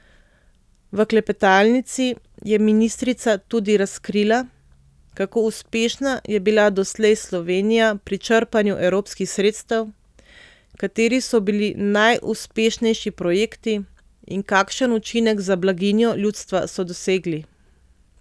V klepetalnici je ministrica tudi razkrila, kako uspešna je bila doslej Slovenija pri črpanju evropskih sredstev, kateri so bili najuspešnejši projekti in kakšen učinek za blaginjo ljudstva so dosegli.